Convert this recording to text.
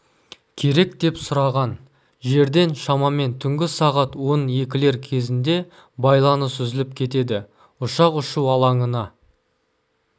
керек деп сұраған жерден шамамен түнгі сағат он екілер кезіндебайланыс үзіліп кетеді ұшақ ұшу алаңына